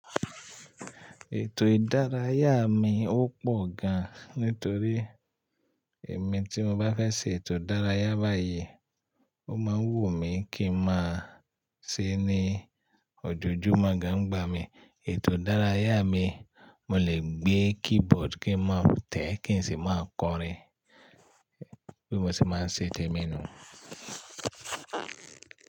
Ètò ìdárayá mi ò pọ̀ gan, nítorí èmi tí mo bá fẹ́ ṣe ètò ìdárayá báyìí, ó máa wù mí kí n máa ṣe ní òjòjúmọ́ gan gbá mi. Ètò ìdárayá mi, mo lè gbé keyboard kí n máa tẹ̀ kí n sì máa kọrin bí mo ṣe máa ń ṣe tèmi nù.